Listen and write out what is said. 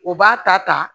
O b'a ta ta